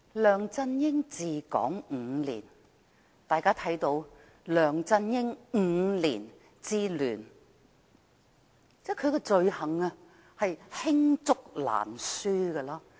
梁振英治港5年，大家看到的是"梁振英5年之亂"，他的罪行罄竹難書。